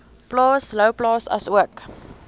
plaas louwplaas asook